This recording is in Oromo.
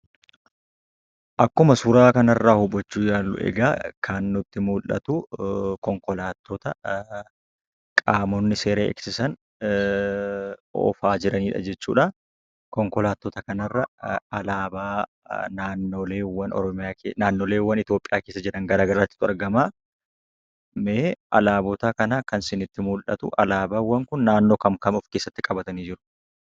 Akkuma suuraa kanarraa hubachuu yaallu egaa kan nutti mul'atu konkolaattota qaamonni seera eegsisan oofaa jiran jechuudha. Konkalaattota kanarra alaabaawwan naannoleewwan Itoophiyaa keessa jiran gara garaatu argama. Alaabawwan kun naannoowwan kam kam ofkeessatti qabatanii jiru?